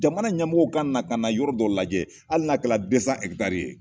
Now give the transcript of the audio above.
Jamana ɲamɔgɔw ka na ka na yɔrɔ dɔ lajɛ hali na kɛra ye